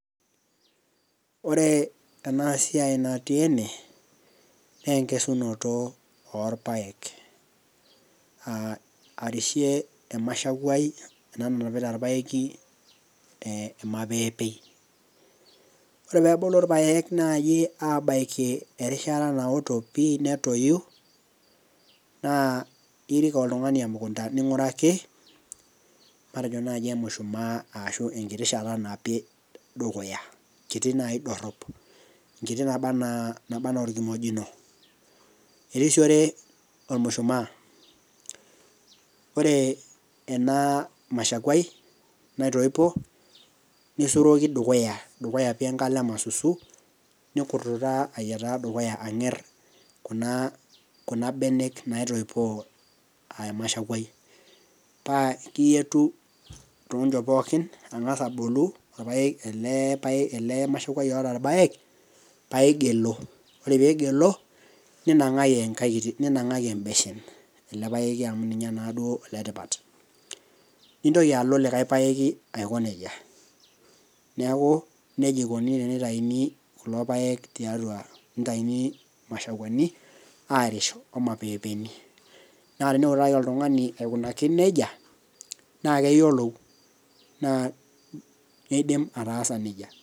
ore ena siai natii ene, naa enkesunoto oolpaek, arishe emashakuai, ena nanpiata orpaeki, ormapeepei. ore pee ebulu irpaek aabaiki erishata anoto pii netoyu, naa irik oltungani emukunta ning'uraki matejo naaji emushmaa, ashu enkiti shata, napi dukuya, kiti naidorop. enkiti naba anaa, orkimojino. erisiore olmushumaa, ore ena, mashakuai naitoipo, nisuroki dukuya, dukya pii ena kalo e masusu, nnkurtutaa aya dukuya ang'er kuna benek naitoipoo emashakuai, naa ekiyietu too nchot pookin ang'as abolo, ele mashakuai oota irpaek, paa iing'ilu, ore pee ing'ilu ninang'aki ebeshen ele paeki amu ninye naaduo oletipat, nintoki alo likae paek aiko nejia, neeku nejia ikoni tenitayuni kulo paek tiatua, tenitayuni imashakuani, aaarish olmapeepeni. neeku teninepu naji oltungani aikunaki nejia naa keyiolou neidim ataasa nejia.